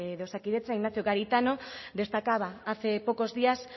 de osakidetza ignacio garitano destacaba hace pocos días